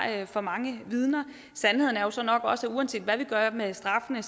for mange vidner sandheden er jo så nok også at uanset hvad vi gør med straffene